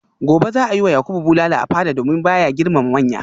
gobe za a yi wa yakubu bulala a fada domin ba ya girmama manya